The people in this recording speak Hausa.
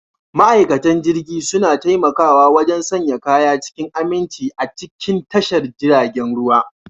Ma'aikatan jirgi suna taimakawa wajen sanya kaya cikin aminci a cikin tashar jiragen ruwa.